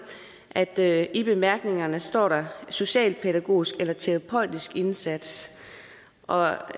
at der i bemærkningerne står socialpædagogisk eller terapeutisk indsats og